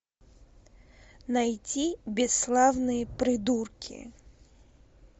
найти бесславные придурки